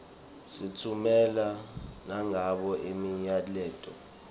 sitffumela nangabo imiyaleto